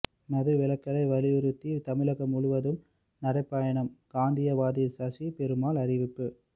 மது விலக்கை வலியுறுத்தி தமிழகம் முழுவதும் நடைபயணம் காந்தியவாதி சசி பெருமாள் அறிவிப்பு